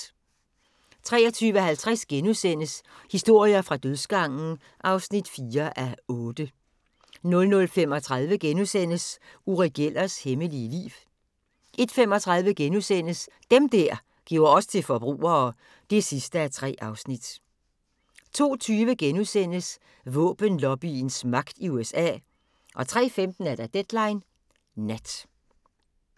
23:50: Historier fra dødsgangen (4:8)* 00:35: Uri Gellers hemmelige liv * 01:35: Dem der gjorde os til forbrugere (3:3)* 02:20: Våbenlobbyens magt i USA * 03:15: Deadline Nat